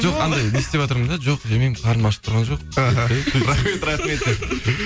жоқ анандай не істеватырмын да жоқ жемеймін қарным ашып тұрған жоқ рахмет рахмет деп